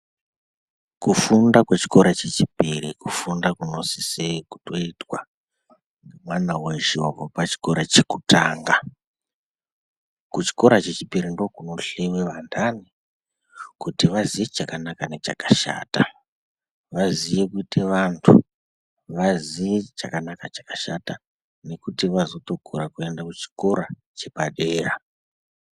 Kufunda kwechikora chechipiri kufunda kunosise kutoitwa nemwana weshe wabve pachikora chekutanga. Kuchikora chechipiri ndokunohleiwe vanhani kuti vaziye chakanaka nechakashata. Vaziye kuite vantu, vaziye chakanaka nechakashata nekuti vazotokura kuende kuchikora chepadera.